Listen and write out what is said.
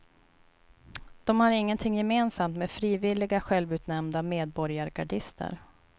De har ingenting gemensamt med frivilliga, självutnämnda medborgargardister.